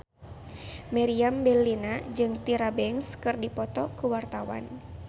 Meriam Bellina jeung Tyra Banks keur dipoto ku wartawan